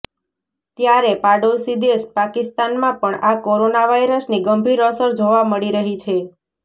ત્યારે પાડોશી દેશ પાકિસ્તાનમાં પણ આ કોરોના વાયરસની ગંભીર અસર જોવા મળી રહી છે